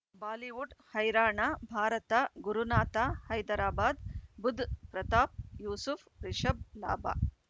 Bollywood ಹೈರಾಣ ಭಾರತ ಗುರುನಾಥ ಹೈದರಾಬಾದ್ ಬುಧ್ ಪ್ರತಾಪ್ ಯೂಸುಫ್ ರಿಷಬ್ ಲಾಭ